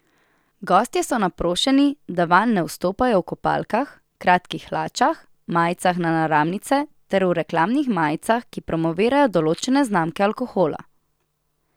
Gostje so naprošeni, da vanj ne vstopajo v kopalkah, kratkih hlačah, majicah na naramnice ter v reklamnih majicah, ki promovirajo določene znamke alkohola.